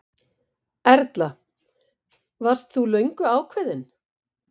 Erla: Varst þú löngu ákveðinn?